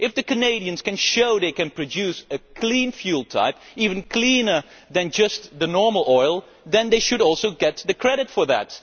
If the Canadians can show they can produce a clean fuel type, even cleaner than just normal oil, then they should also get the credit for that.